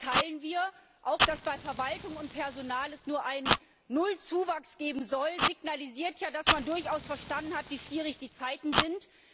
teilen wir. Auch, dass es bei Verwaltung und Personal nur einen Nullzuwachs geben soll, signalisiert ja, dass man durchaus verstanden hat, wie schwierig die Zeiten sind.